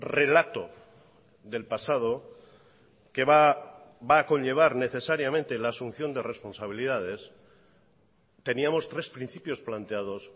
relato del pasado que va a conllevar necesariamente la asunción de responsabilidades teníamos tres principios planteados